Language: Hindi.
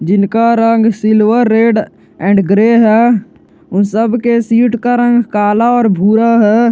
जिनका रंग सिल्वर रेड एंड ग्रे है उन सब के सीट का रंग काला और भूरा है।